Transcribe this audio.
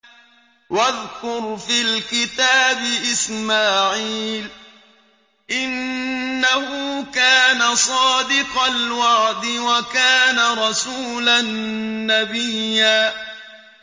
وَاذْكُرْ فِي الْكِتَابِ إِسْمَاعِيلَ ۚ إِنَّهُ كَانَ صَادِقَ الْوَعْدِ وَكَانَ رَسُولًا نَّبِيًّا